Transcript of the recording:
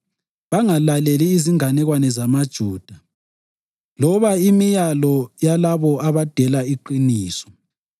bangalaleli izinganekwane zamaJuda loba imilayo yalabo abadela iqiniso.